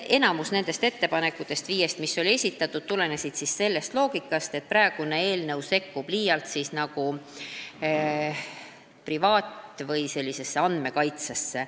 Enamik nendest viiest esitatud ettepanekust tulenes sellest loogikast, et praegune eelnõu sekkub liialt privaatasjadesse või rikub andmekaitse põhimõtteid.